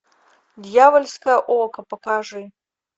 дьявольское око покажи